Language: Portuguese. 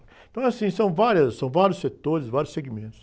Então, é assim, são várias, são vários setores e vários segmentos.